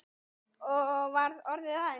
Og var orðið að henni?